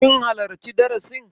Kin halarci darasin?